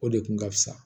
O de kun ka fisa